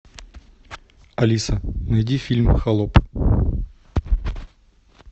алиса найди фильм холоп